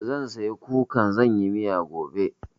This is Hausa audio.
Zan saya kukan zan yi miya gobe.